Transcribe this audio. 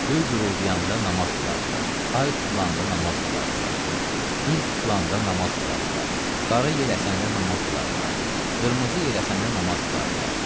Göy guruldayanda namaz qılardılar, ay tutulanda namaz qılardılar, gün tutulanda namaz qılardılar, qara yel əsəndə namaz qılardılar, qırmızı yel əsəndə namaz qılardılar.